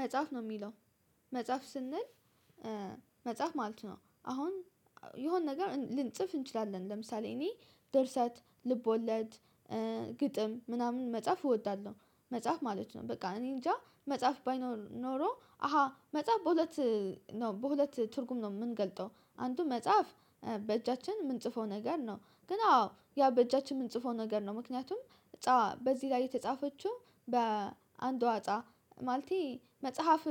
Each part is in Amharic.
መጽሐፍ ነው የሚለው። መጽሐፍ ስንል መጽሐፍ ማለት ነው። አሁን የሆነ ነገር ልንጽፍ እንችላለን ለምሳሌ እኔ ደርሰት ልቦለድ ግጥም ምናምን መጽሐፍ እወዳለሁ። መጽሐፍ ማለት ነው። በቃ እኔ እንጃ መጽሐፍ ባይኖር ኖሮ አሃ መጽሐፍ በሁለት በሁለት ትርጉም ነው የምንገልጠው አንዱ መጽሐፍ በእጃችን የምንጽፈው ነገር ነው። ግን አዎ ያ በእጃችን የምንጽፈው ነገር ነው። ምክንያቱም እጣ በዚህ ላይ የተጻፈችው በአንዷ እጣ ማለቴ መጽሐፍ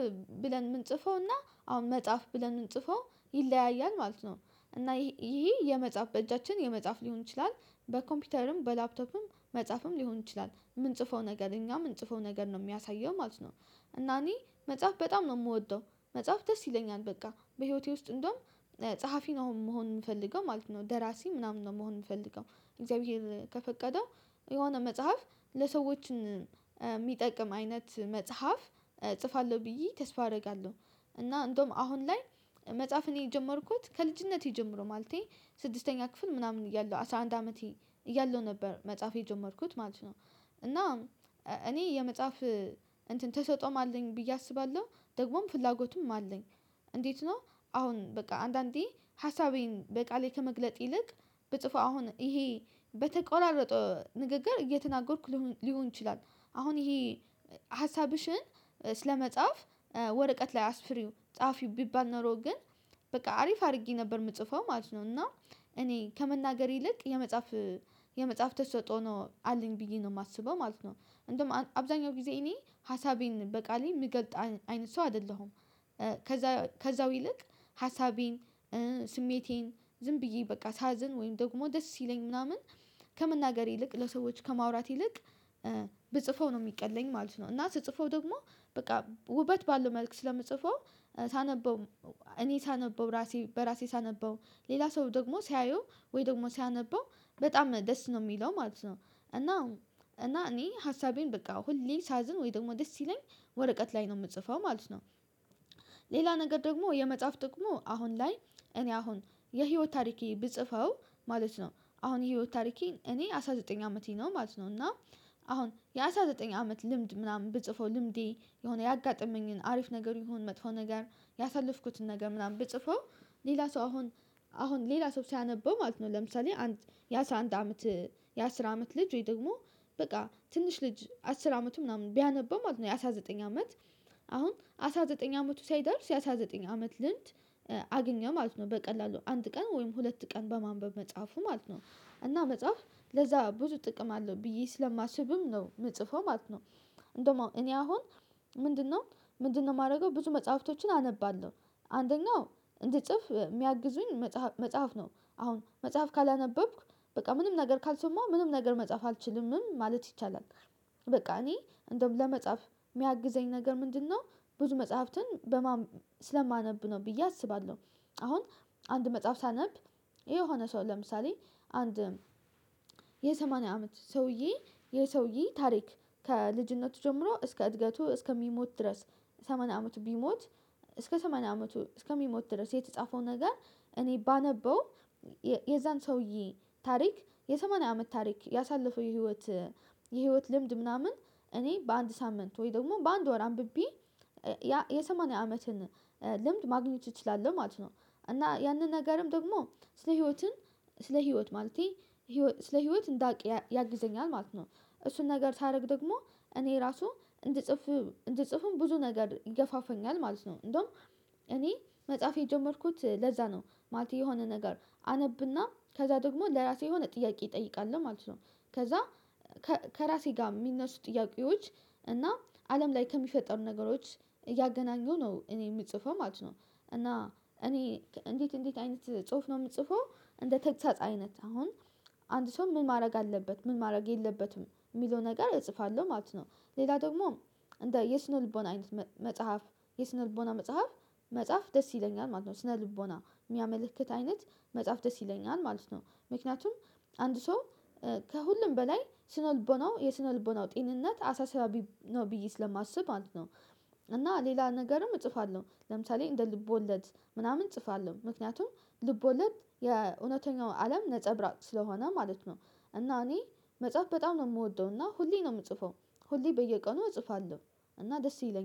ብለን የምንጽፈውና አሁን መጽሐፍ ብለን የምንጽፈው ይለያያል ማለት ነው። እና ይሄ የመጽሐፍ በእጃችን የመጽሐፍ ሊሆን ይችላል። በኮምፒውተርም በላፕቶፕም መጽሐፍም ሊሆን ይችላል የምንጽፈው ነገር እኛ የምንጽፈው ነገር ነው የሚያሳየው ማለት ነው። እና እኔ መጽሐፍ በጣም ነው የምወደው መጽሐፍ ደስ ይለኛል በቃ በህይወቴ ውስጥ እንደውም ጸሐፊ ነው መሆን የምፈልገው ማለት ነው። ደራሲ ምናምን ነው መሆን የምፈልገው እግዚአብሔር ከፈቀደው የሆነ መጽሐፍ ለሰዎችን የሚጠቅም አይነት መጽሐፍ እጽፋለሁ ብዬ ተስፋ አደርጋለሁ። እና እንደውም አሁን ላይ መጽሐፍን የጀመርኩት ከልጅነቴ ጀምሮ ማለቴ ስድስተኛ ክፍል ምናምን እያለሁ አስራ አንድ አመቴ እያለሁ ነበር መጽሐፍ የጀመርኩት ማለት ነው። እና እኔ የመጽሐፍ እንትን ተሰጥኦም አለኝ ብዬ አስባለሁ ደግሞም ፍላጎቱም አለኝ። እንዴት ነው አሁን በቃ አንዳንዴ ሀሳቤን በቃሌ ከመግለጥ ይልቅ ብጽፈው አሁን ይሄ በተቆራረጠ ንግግር እየተናገርኩ ሊሆን ይችላል። አሁን ይሄ ሀሳብሽን ስለመጻፍ ወረቀት ላይ አስፍሪው ጸሀፊው ቢባል ኖሮ ግን በቃ አሪፍ አድርጌ ነበር የምጽፈው ማለት ነው። እና እኔ ከመናገር ይልቅ የመጽሐፍ የመጽሐፍ ተሰጦ ነው አለኝ ብዬ ነው የማስበው ማለት ነው። እንደውም አብዛኛው ጊዜ እኔ ሀሳቤን በቃሌ የምገልጥ አይነት ሰው አይደለሁም። ከዛ ከዛው ይልቅ ሀሳቤን ስሜቴን ዝም ብዬ በቃ ሳዝን ወይም ደግሞ ደስ ይለኝ ምናምን ከመናገር ይልቅ ለሰዎች ከማውራት ይልቅ ብጽፈው ነው የሚቀለኝ ማለት ነው። እና ስጽፈው ደግሞ በቃ ውበት ባለው መልኩ ስለምትጽፈው ሳነበው እኔ ሳነበው ራሴ በራሴ ሳነበው ሌላ ሰው ደግሞ ሲያየው ወይ ደግሞ ሲያነበው በጣም ደስ ነው የሚለው ማለት ነው። እና እና እኔ ሀሳቤን በቃ ሁሌ ሳዝን ወይ ደግሞ ደስ ሲለኝ ወረቀት ላይ ነው የምጽፈው ማለት ነው። ሌላ ነገር ደግሞ የመጽሐፍ ጥቅሙ አሁን ላይ እኔ አሁን የህይወት ታሪኬ ብጽፈው ማለት ነው አሁን የህይወት ታሪኬን እኔ አስራ ዘጠኝ አመቴ ነው ማለት ነው። እና አሁን የአስራ ዘጠኝ አመት ልምድ ምናምን ብጽፈው ልምዴ የሆነ ያጋጠመኝን አሪፍ ነገሩ ይሁን መጥፎ ነገር ያሳለፍኩትን ነገር ምናምን ብጽፈው ሌላ ሰው አሁን አሁን ሌላ ሰው ሲያነበው ማለት ነው። ለምሳሌ የአስራ አንድ አመት የአስር አመት ልጅ ወይ ደግሞ በቃ ትንሽ ልጅ አስር አመቱ ምናምን ቢያነበው ማለት ነው። ያአስራ ዘጠኝ አመት አሁን አስራ ዘጠኝ አመቱ ሳይደርስ አስራ ዘጠኝ አመት ልምድ አገኘ ማለት ነው በቀላሉ አንድ ቀን ወይም ሁለት ቀን በማንበብ መጽሐፉ ማለት ነው። እና መጽሐፍ ለዛ ብዙ ጥቅም አለው ብዬ ስለማስብም ነው የምጽፈው ማለት ነው። እንደውም እኔ አሁን ምንድነው ምንድነው የማደርገው ብዙ መጽሐፍቶችን አነባለሁ። አንደኛው እንዲጽፍ የሚያግዙኝ መጽሐፍ ነው አሁን መጽሐፍ ካላነበብክ በቃ ምንም ነገር ካልሰማው ምንም ነገር መጽሐፍ አልችልምም ማለት ይቻላል። በቃ እኔ እንደውም ለመጽሐፍ የሚያግዘኝ ነገር ምንድነው ብዙ መጽሐፍትን በማን ስለማነብ ነው ብዬ አስባለሁ። አሁን አንድ መጽሐፍ ሳነብ የሆነ ሰው ለምሳሌ አንድ የሰማንያ አመት ሰውዬ የሰውየ ታሪክ ከልጅነቱ ጀምሮ እስከ እድገቱ እስከሚሞት ድረስ ሰማንያ አመቱ ቢሞት እስከ ሰማንያ አመቱ እስከሚሞት ድረስ የተጻፈው ነገር እኔ ባነበው የዛን ሰውየ ታሪክ የሰማንያ አመት ታሪክ ያሳለፈው የህይወት የህይወት ልምድ ምናምን እኔ በአንድ ሳምንት ወይ ደግሞ በአንድ ወር አንብቤ የሰማንያ አመትን ልምድ ማግኘት እችላለሁ ማለት ነው። እና ያንን ነገርም ደግሞ ስለ ህይወትን ስለ ህይወት ማለቴ ስለ ህይወት እንዳውቅ ያግዘኛል ማለት ነው። እሱን ነገር ሳደርግ ደግሞ እኔ ራሱ እንድጽፍ እንድጽፍም ብዙ ነገር ይገፋፈኛል ማለት ነው። እንደውም እኔ መጽሐፍ የጀመርኩት ለዛ ነው ማለቴ የሆነ ነገር አነብና ከዛ ደግሞ ለራሴ የሆነ ጥያቄ ይጠይቃል ማለት ነው። ከዛ ከራሴ ጋር የሚነሱ ጥያቄዎች እና አለም ላይ ከሚፈጠሩ ነገሮች እያገናኙ ነው እኔ የምጽፈው ማለት ነው። እና እኔ እንዴት እንዴት አይነት ጽሁፍ ነው የምጽፈው? እንደ ተግሳጽ አይነት አሁን አንድ ሰው ምን ማድረግ አለበት ምን ማድረግ የለበትም የሚለው ነገር እጽፋለሁ ማለት ነው። ሌላ ደግሞ እንደ የስነ ልቦና አይነት መጽሐፍ የስነ ልቦና መጽሐፍ መጽሐፍ ደስ ይለኛል ማለት ነው። ስነ ልቦና የሚያመለክት አይነት መጽሐፍ ደስ ይለኛል ማለት ነው። ምክንያቱም አንድ ሰው ከሁሉም በላይ ስነ ልቦናው የስነ ልቦናው ጤንነት አሳሳቢ ነው ብየ ስለማስብ ማለት ነው። እና ሌላ ነገርም እጽፋለሁ ለምሳሌ እንደ ልቦለድ ምናምን እጽፋለሁ ምክንያቱም ልቦለድ የእውነተኛው አለም ነፀብራቅ ስለሆነ ማለት ነው። እና እኔ መጽሐፍ በጣም ነው የምወደው እና ሁሌ ነው የምጽፈው ሁሌ በየቀኑ እጽፋለሁ። እና ደስ ይለኛል